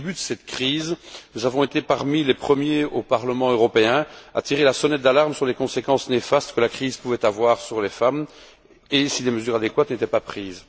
Au tout début de cette crise, nous avons été parmi les premiers, au Parlement européen, à tirer la sonnette d'alarme sur les conséquences néfastes que la crise pouvait avoir sur les femmes si des mesures adéquates n'étaient pas prises.